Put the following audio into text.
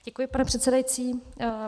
Děkuji, pane předsedající.